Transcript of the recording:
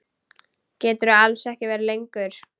Geturðu alls ekki verið lengur?